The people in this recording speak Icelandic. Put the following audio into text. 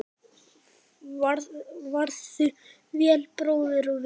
Farðu vel, bróðir og vinur.